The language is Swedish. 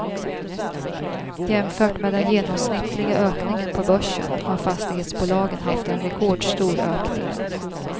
Jämfört med den genomsnittliga ökningen på börsen har fastighetsbolagen haft en rekordstor ökning.